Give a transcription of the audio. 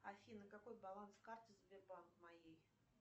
афина какой баланс карты сбербанк моей